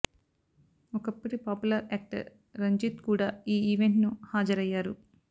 ఒకప్పుటి popular actor Ranjith కూడా ఈ event ను హాజరయ్యారు